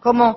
cómo